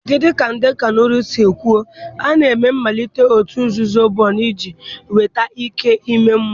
Dị ka ndị Kanuri si kwuo, a na-eme mmalite òtù nzuzo Bori iji nweta ike ime mmụọ.